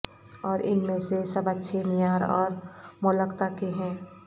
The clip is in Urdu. اور ان میں سے سب اچھے معیار اور مولکتا کے ہیں